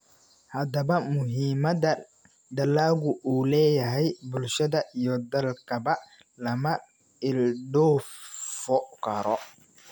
Haddaba, muhiimadda dalaggu u leeyahay bulshada iyo dalkaba lama ilduufo karo.